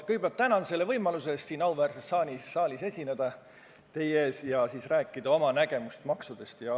Ma kõigepealt tänan võimaluse eest siin auväärses saalis teie ees esineda ja rääkida, milline on minu arusaam maksudest.